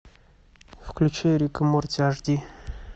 включи рик и морти аш ди